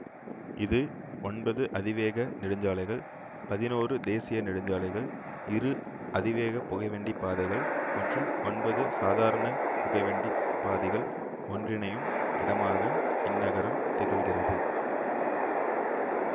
இது ஒன்பது அதிவேக நெடுஞ்சாலைகள் பதினொரு தேசிய நெடுஞ்சாலைகள் இரு அதிவேக புகைவண்டிப் பாதைகள் மற்றூம் ஒன்பது சாதாரண புகைவண்டிப் பாதிகள் ஒன்றிணையும் இடமாக இந்நகரம் திகழ்கிறது